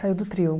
Saiu do trio.